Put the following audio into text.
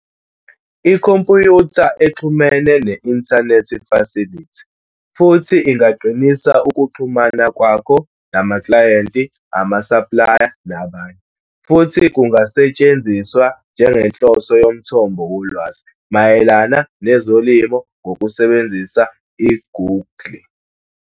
Ikhompyutha exhumene ne-inthanethi fasilithi futhi ingaqinisa ukuxhumana kwakho namaklayenti, ama-supplier nabanye futhi kungasetshenziswa njengenhloso yomthombo wolwazi mayelana nezolimo ngokusebenzisa i-Google.